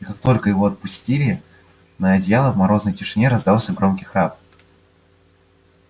и как только его опустили на одеяло в морозной тишине раздался громкий храп